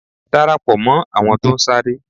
Darapo mó àwọn tó ń sáré.